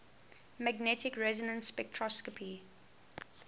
magnetic resonance spectroscopy